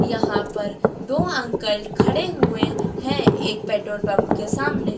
यहां पर दो अंकल खड़े हुए हैं एक पेट्रोल पंप के सामने।